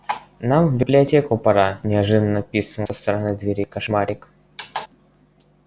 нам в библиотеку пора неожиданно пискнул со стороны двери кошмарик